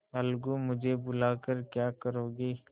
अलगूमुझे बुला कर क्या करोगी